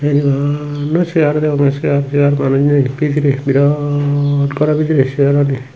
bana seyar degonge seyar seyar manuj nei bidire birat goro bidire seyarani.